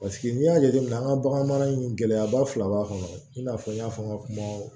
Paseke n'i y'a jateminɛ an ka bagan in gɛlɛya ba fila b'a kɔnɔ i n'a fɔ n y'a fɔ n ka kuma